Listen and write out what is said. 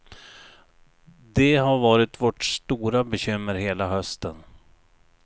Det har varit vårt stora bekymmer hela hösten.